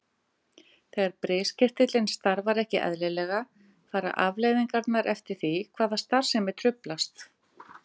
Þegar briskirtillinn starfar ekki eðlilega fara afleiðingarnar eftir því hvaða starfsemi truflast.